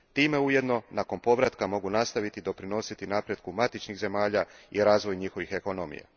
Time ujedno nakon povratka mogu nastojiti doprinositi napretku matičnih zemalja i razvoju njihovih ekonomija.